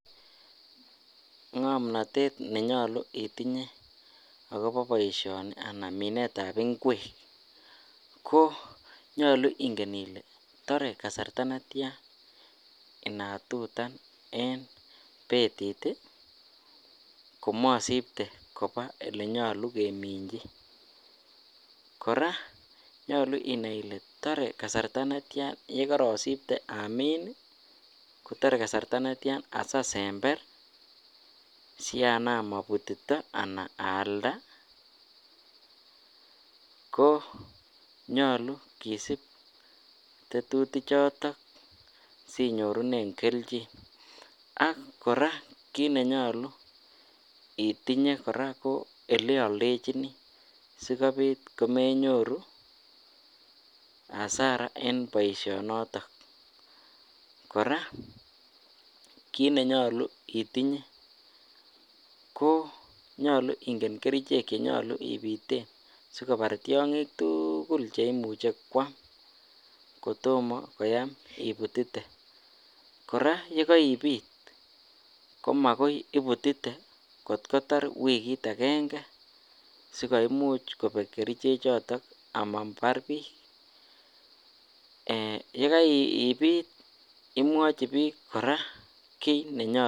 Ng'omnotet ne nyolu itinye akobo boishoni anan minetab inkwek ko nyolu ing'en ile tore kasarta netian inatutan en betit komasibtee koba olenyolu keminchi , kora nyolu inai ile tore kasarta netian yekorosibte amin ko tore kasarta netian asi asember si anam abutito anan aalda ko nyolu kisib tetutichoton sinyorunen kelchin ak kora kiit ne nyolu itinye kora ko eleoldechinii si kobiit komenyoru hasara en boishonoton, kora kitne nyolu itinye ko nyolu ing'en kerichek che ibiten si kobar tiong'ik tukul che imuche kwam kotomo koyam ibutite, kora yekoibiit ko makai ibutite kotkoyar wigit akeng'e sikoimuch kobek kerichechoton amabar biik imwochi biik kora kit ne nyolu.